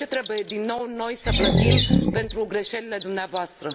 De ce trebuie, din nou, noi să plătim pentru greșelile dumneavoastră?